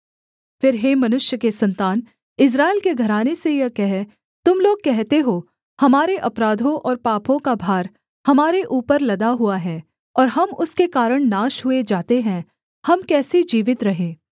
फिर हे मनुष्य के सन्तान इस्राएल के घराने से यह कह तुम लोग कहते हो हमारे अपराधों और पापों का भार हमारे ऊपर लदा हुआ है और हम उसके कारण नाश हुए जाते हैं हम कैसे जीवित रहें